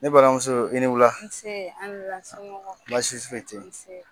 Ni balimamuso i ni wula. Nse an ni wula, somɔgɔw. Baasi foyi tɛ yen. Nse!